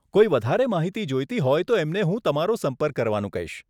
કોઈ વધારે માહિતી જોઈતી હોય તો એમને હું તમારો સંપર્ક કરવાનું કહીશ.